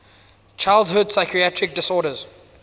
childhood psychiatric disorders